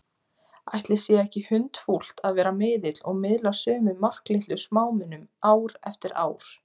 Ætli sé ekki hundfúlt að vera miðill og miðla sömu marklitlu smámunum ár eftir ár?